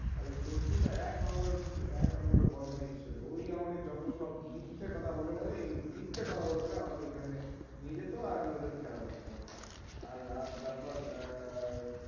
আর ওই সনটু টা এক number এর এক number এর বদমাইশ ছেলে. ওই আমাদের যতসব মিথ্যে কথ বলে বলে এই মিথ্যে কথ বলে বলে আমাদের ওখানে নিয়ে যেত, আর আমি ওদের খেলা দেখতাম আর আর তারপর আহ